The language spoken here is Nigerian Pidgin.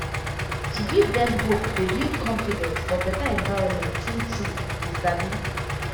to give dem hope dey build confidence for better environment true true you sabi